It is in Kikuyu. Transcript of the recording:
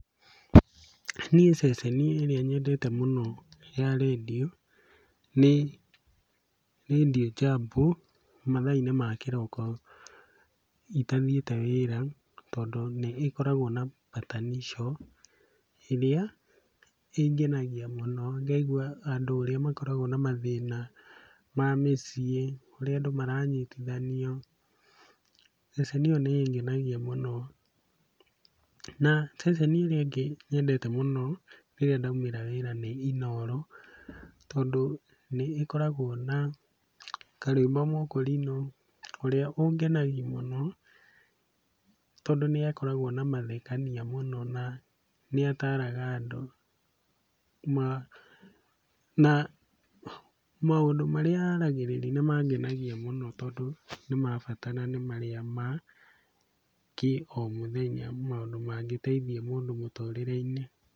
Niĩ ceceni ĩrĩa nyendete mũno ya rĩndiũ nĩ Radio Jambo mathaa-inĩ ma kĩroko itathiĩte wĩra tondũ nĩĩkoragwo na Patanisho, ĩrĩa ĩngenagia mũno ngaigua andũ ũrĩa makoragwo na mathĩna ma mĩciĩ, ũrĩa andũ maranyitithanio, na ceceni ĩyo nĩĩngenagia mũno. Na, ceceni ĩrĩa ĩngĩ nyendete mũno rĩrĩa ndaumĩra wĩra nĩ Inooro, tondũ nĩĩkoragwo na Karwĩmbo Mũkũrinũ, ũrĩa ũngenagia mũno tondũ nĩakoragwo na mathekania mũno na nĩataaraga andũ, na maũndũ marĩa aragĩrĩria nĩmangenagia mũno tondũ nĩ ma bata na nĩ marĩa ma kĩomũthenya maũndũ mangĩteithia mũndũ mũtũrĩre-inĩ.